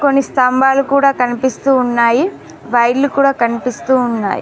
కొన్ని స్తంభాలు కూడా కనిపిస్తూ ఉన్నాయి వైర్లు కూడా కనిపిస్తూ ఉన్నాయ్.